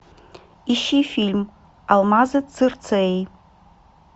ищи фильм алмазы цирцеи